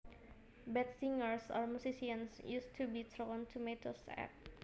Bad singers or musicians used to be thrown tomatoes at